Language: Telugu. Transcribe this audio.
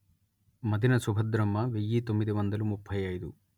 మదిన సుభద్రమ్మ వెయ్యి తొమ్మిది వందల ముప్పై అయిదు